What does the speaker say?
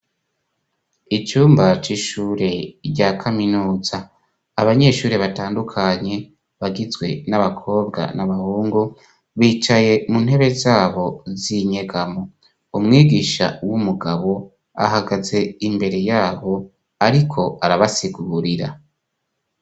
Icumba c'ishure rya kaminuza. Abanyeshure batandukanye, bagizwe n'abakobwa n'abahungu, bicaye mu ntebe zabo z'inyegamo. Umwigisha w'umugabo ahagaze imbere ya bo ariko arabasigurira.